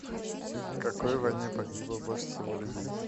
в какой войне погибло больше всего людей